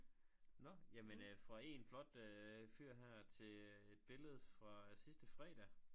Nåh jamen øh fra en flot øh fyr her til et billede fra sidste fredag